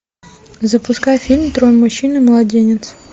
запускай фильм трое мужчин и младенец